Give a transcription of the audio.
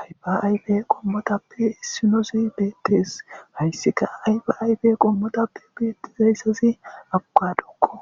Ayfa ayfe qomotappe isinoz betes , haysika ayfa ayfe qomotappe beetizaysazi abokadoko,